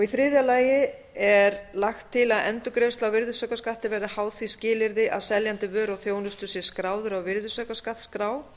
þriðja lagi er lagt til að endurgreiðsla á virðisaukaskatti verði háð því skilyrði að seljandi vöru og þjónustu sé skráður á virðisaukaskattsskrá